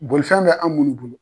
Bolifɛn bɛ an munnu bolo.